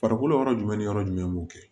Farikolo yɔrɔ jumɛn ni yɔrɔ jumɛn b'u kɛ